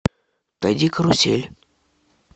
найди карусель